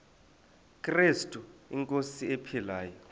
krestu inkosi ephilileyo